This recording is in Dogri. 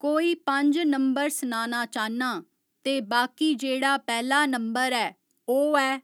कोई पंज नंबर सनाना चाह्‌न्ना ते बाकी जेह्ड़ा पैह्‌ला नंबर ऐओह् ऐ